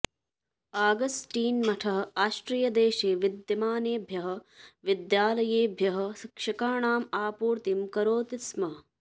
Augustine मठः आस्ट्रियदेशे विद्यमानेभ्यः विद्यालयेभ्यः शिक्षकाणाम् आपूर्तिं करोति स्म